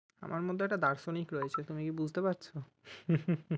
আমার মধ্যে একটা দার্শনিক রয়েছে তুমি কি বুঝতে পারছো?